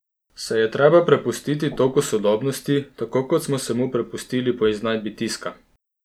Se je treba prepustiti toku sodobnosti, tako kot smo se mu prepustili po iznajdbi tiska?